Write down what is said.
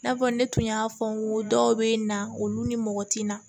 I n'a fɔ ne tun y'a fɔ n ko dɔw bɛ na olu ni mɔgɔ tɛ na